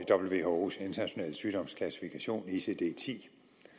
whos internationale sygdomsklassifikation icd ti